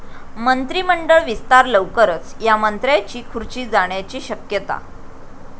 मंत्रिमंडळ विस्तार लवकरच, या मंत्र्यांची खुर्ची जाण्याची शक्यता?